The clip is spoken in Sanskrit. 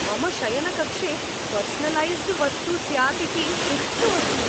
मम शयनकक्षे पर्सनलैस्ड् वस्तु स्यात् इति हृष्टोस्मि।